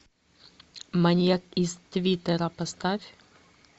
маньяк из твиттера поставь